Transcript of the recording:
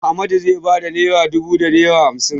Ahmadu zai ba da naira dubu da naira hamsin.